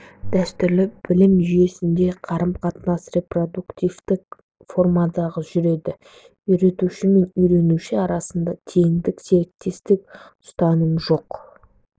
дәстүрлі білім жүйесінде қарым-қатынас репродуктивтік формада жүреді үйретуші мен үйренуші арасында теңдік серіктестік ұстанымы жоқ